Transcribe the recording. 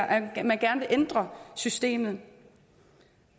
at man gerne vil ændre systemet